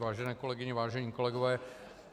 Vážené kolegyně, vážení kolegové.